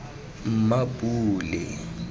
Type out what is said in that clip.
mmapule